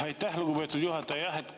Aitäh, lugupeetud juhataja!